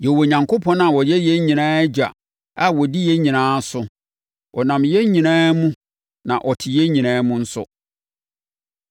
Yɛwɔ Onyankopɔn a ɔyɛ yɛn nyinaa Agya a ɔdi yɛn nyinaa so. Ɔnam yɛn nyinaa mu, na ɔte yɛn nyinaa mu nso.